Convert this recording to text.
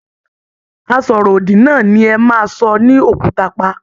Asọ̀rọ̀ òdì náà ni ẹ maa sọ ní òkúta pa.